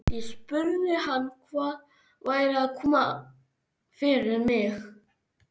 Ég spurði hann hvað væri að koma fyrir mig.